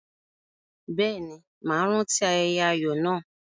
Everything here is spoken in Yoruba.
Bẹ́ẹ̀ ni, màá rántí ayẹyẹ ayọ̀ náà.